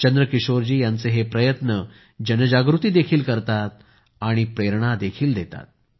चंद्रकिशोरजी यांचे हे प्रयत्न जनजागृती देखील करतात आणि प्रेरणा देखील देतात